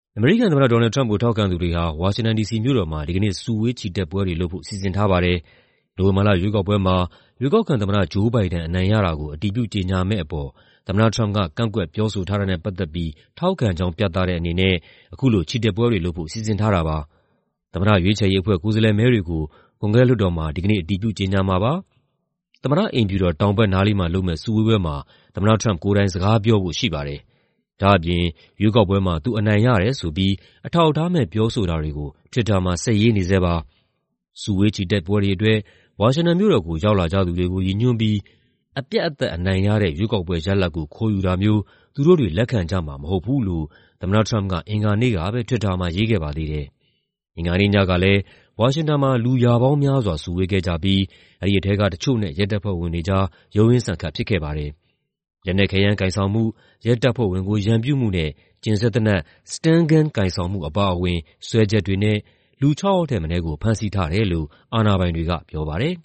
အမေရိကန်သမ္မတ Donald Trump ကို ထောက်ခံသူတွေဟာ ဝါရှင်တန် ဒီစီမြို့တော်မှာ ဒီကနေ့ စုဝေး ချီတက်ပွဲတွေလုပ်ဖို့ စီစဉ်ထားပါတယ်။ နိုဝင်ဘာလရွေးကောက်ပွဲမှာ ရွေးကောက်ခံသမ္မတ Joe Biden အနိုင်ရတာကို အတည်ပြုကြေညာမယ့်အပေါ် သမ္မတထရမ့်ပ်က ကန့်ကွက်ပြောဆိုထားတာကို ထောက်ခံကြောင်း ပြတဲ့အနေနဲ့ အခုလို ချီတက်ပွဲတွေလုပ်ဖို့ စီစဉ်ထားတာပါ။ သမ္မတရွေးချယ်ရေးအဖွဲ့ ကိုယ်စားလှယ်မဲတွေကို ကွန်ဂရက်လွှတ်တော်မှာ ဒီကနေ့ အတည်ပြု ကြေညာမှာပါ။ သမ္မတအိမ်ဖြူတော် တောင်ဘက်နားလေးမှာလုပ်မယ့် စုဝေးပွဲမှာ သမ္မတထရမ့်ပ်ကိုယ်တိုင် စကားပြောဖို့ရှိပါတယ်။ ဒါ့အပြင် ရွေးကောက်ပွဲမှာ သူအနိုင်ရတယ်ဆိုပြီး အထောက်အထားမဲ့ ပြောဆိုတာတွေကို Twitter မှာ ဆက်ရေးနေဆဲပါ။ စုဝေးချီတက်ပွဲတွေအတွက် ဝါရှင်တန်မြို့တော်ကို ရောက်လာကြသူတွေကို ရည်ညွှန်းပြီး "အပြတ်အသတ်အနိုင်ရတဲ့ ရွေးကောက်ပွဲရလဒ်ကို ခိုးယူတာမျိုး သူတို့တွေ လက်ခံကြမှာမဟုတ်ဘူး။" လို့ အင်္ဂါနေ့ကပဲ Twitter မှာရေးခဲ့ပါသေးတယ်။ အင်္ဂါနေ့ညကလည်း ဝါရှင်တန်မှာ လူရာပေါင်းများစွာ စုဝေးခဲ့ကြပြီး အဲဒီထဲက တချို့နဲ့ ရဲတပ်ဖွဲ့ဝင်တွေကြား ရုန်းရင်းဆန်ခတ်ဖြစ်ခဲ့ပါတယ်။ လက်နက်ခဲယမ်း ကိုင်ဆောင်မှု၊ ရဲတပ်ဖွဲ့ဝင်ကို ရန်ပြုမှုနဲ့ ကျဉ်စက်သေနတ် stun gun ကိုင်ဆောင်မှုအပါအဝင် စွဲချက်တွေနဲ့ လူခြောက်ယောက်ထက်မနည်းကို ဖမ်းဆီးထားတယ်လို့ အာဏာပိုင်တွေက ပြောပါတယ်